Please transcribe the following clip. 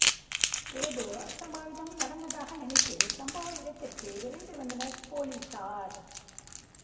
ஏதோ அசம்பாவிதம் நடந்ததாக நினைத்து சம்பவ இடத்திற்கு விரைந்து வந்தனர் பொலிசார்